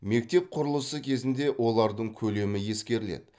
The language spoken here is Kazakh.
мектеп құрылысы кезінде олардың көлемі ескеріледі